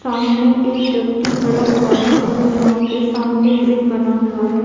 सामने एक व्यक्ति खड़ा हुआ है और यहा पे सामने ब्रिज बना हुआ है।